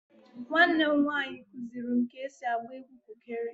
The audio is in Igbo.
Nwannem nwaanyi kuziri m ka esi agba egwu kụkere